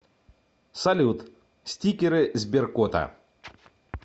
салют стикеры сберкота